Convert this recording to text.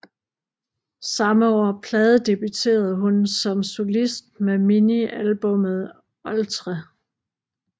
Samme år pladedebutereden hun som solist med minialbummet Oltre